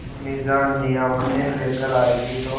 अम्मीजान नियामतें लेकर आएँगी तो